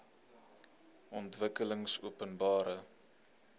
ontwikkelingopenbare